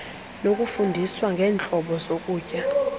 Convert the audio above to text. nokufundiswa ngeentlobo zokutya